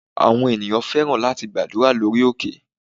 Àwọn ènìyàn fẹ́ràn láti gbàdúrà lórí òkè.